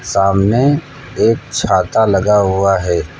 सामने एक छाता लगा हुआ है।